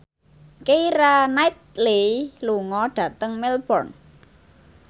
Keira Knightley lunga dhateng Melbourne